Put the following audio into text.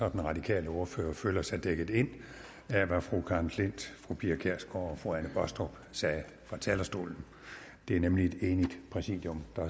og den radikale ordfører føler sig dækket ind af hvad fru karen klint fru pia kjærsgaard og fru anne baastrup sagde fra talerstolen det er nemlig et enigt præsidium der